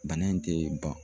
Bana in tɛ ban